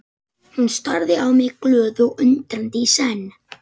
Hún starði á mig glöð og undrandi í senn.